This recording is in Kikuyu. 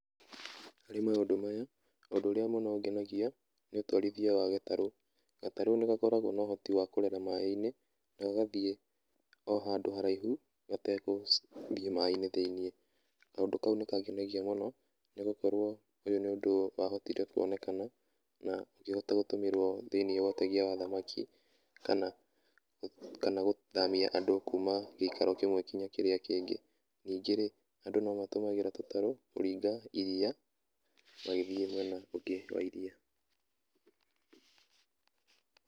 Harĩ maũndũ maya, ũndũ ũrĩa mũno ũngenagia nĩ ũtwarithia wa gatarũ. Gatarũ nĩ gakoragwo na ũhoti wa kũrera maĩ-inĩ na gagathiĩ o handũ haraihu gategũthiĩ maĩ-inĩ thĩ-inĩ. Kaũndũ kau nĩ kangenagia mũno nĩ gũkorwo ũyũ nĩ ũndũ wahotire kuonekana na ũkĩhota gũtũmĩrwo thĩ-inĩ wa ũtegia wa thamaki, kana gũthamia andũ kuma gĩikaro kĩmwe nginya kĩrĩa kĩngĩ. Ningĩ-rĩ, andũ no matũmagĩra tũtarũ kũringa iria magĩthiĩ mwena ũngĩ wa iria.